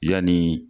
Yanni